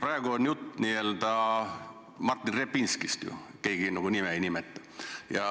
Praegu on jutt ju Martin Repinskist, kuigi keegi nime ei nimeta.